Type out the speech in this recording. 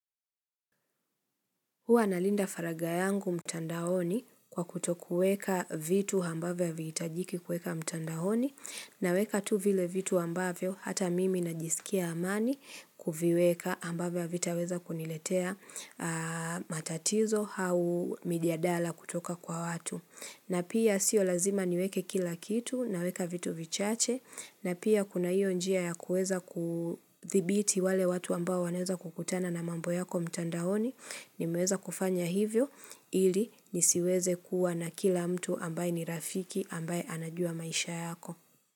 Huwa nalinda faragha yangu mtandaoni kwa kutokueka vitu ambavyo havihitajiki kueka mtandaoni naweka tu vile vitu ambavyo hata mimi najisikia amani kuviweka ambavyo havitaweza kuniletea matatizo au mijadala kutoka kwa watu. Na pia sio lazima niweke kila kitu naweka vitu vichache na pia kuna hiyo njia ya kueza kuthibiti wale watu ambao wanaweza kukutana na mambo yako mtandaoni nimeweza kufanya hivyo ili nisiweze kuwa na kila mtu ambaye ni rafiki ambaye anajua maisha yako.